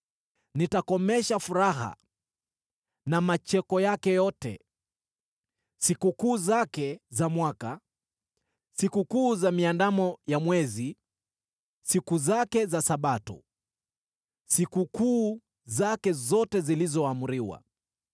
Nitakomesha furaha na macheko yake yote: sikukuu zake za mwaka, sikukuu za Miandamo ya Mwezi, siku zake za Sabato, sikukuu zake zote zilizoamriwa.